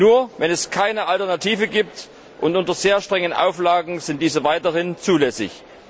Nur wenn es keine Alternative gibt, und unter sehr strengen Auflagen, sind diese weiterhin zulässig.